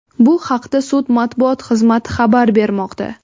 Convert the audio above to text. Bu haqda sud matbuot xizmati xabar bermoqda.